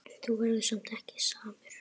En þú verður ekki samur.